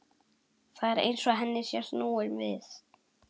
Það er eins og henni sé snúið við.